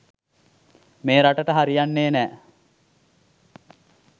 මේ රටට හරියන්නේ නෑ.